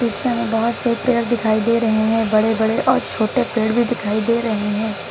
पीछे में बहुत से पेड़ दिखाई दे रहे हैं बड़े बड़े और छोटे पेड़ भी दिखाई दे रहे हैं।